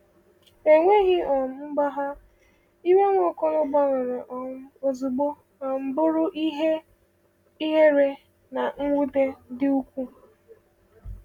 Enweghị um mgbagha, iwe Nwaokolo gbanwere um ozugbo um bụrụ ihere na mwute dị ukwuu.